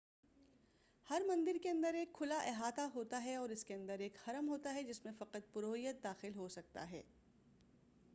ہر مندر کے اندر ایک کھلا احاطہ ہوتا ہے اور اس کے اندر ایک حرم ہوتا ہے جس میں فقط پروہت داخل ہو سکتا ہے